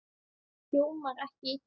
Hljómar ekki illa.